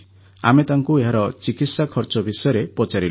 ଆମେ ତାଙ୍କୁ ଏହାର ଚିକିତ୍ସା ଖର୍ଚ୍ଚ ବିଷୟରେ ପଚାରିଲୁ